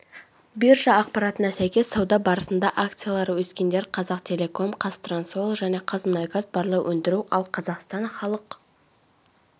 биржа ақпаратына сәйкес сауда барысында акциялары өскендер қазақтелеком қазтрансойл және қазмұнайгаз барлау өндіру ал қазақстан халық